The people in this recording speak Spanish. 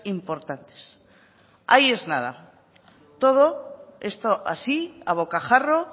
importantes ahí es nada todo esto así a bocajarro